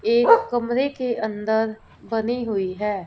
एक कमरे के अंदर बनी हुई है।